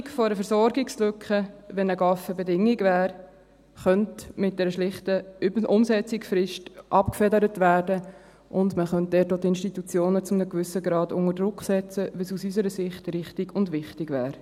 Die Befürchtung einer Versorgungslücke, wenn ein GAV Bedingung wäre, könnte mit einer schlichten Umsetzungsfrist abgefedert werden, und man könnte dort die Institutionen auch zu einem gewissen Grad unter Druck setzen, was unserer Ansicht nach richtig und wichtig wäre.